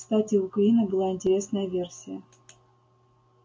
кстати у куинна была интересная версия